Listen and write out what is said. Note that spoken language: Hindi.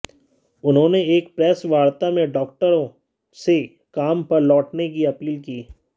उन्होंने एक प्रेस वार्ता में डॉक्टरों से काम पर लौटने की अपील की